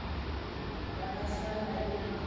ga a sa na le